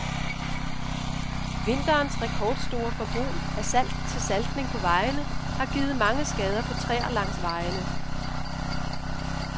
Vinterens rekordstore forbrug af salt til saltning på vejene har givet mange skader på træer langs vejene.